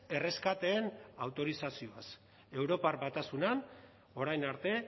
erreskateen autorizazioaz europar batasunean orain arte